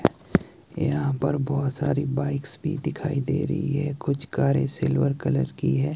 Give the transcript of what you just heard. यहां पर बहुत सारी बाइक्स भी दिखाई दे रही है कुछ कारें सिल्वर कलर की है।